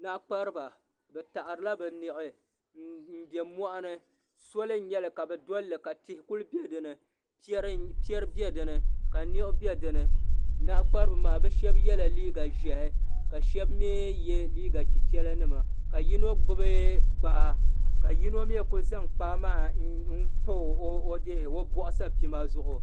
Naɣakpariba bɛ taɣarila bɛ niɣi m be moɣuni soli n nyɛli kabi dolli ka tihi kuli biɛ dinni piɛri be dinni ka niɣi be dinni Naɣakpariba maa bɛ sheba yela liiga ʒehi ka sheba mee ye liiga chichela nima ka yino gbibi kpaa ka yino maa kuli zaŋ kpaa maa mpa o boɣu sapima zuɣu.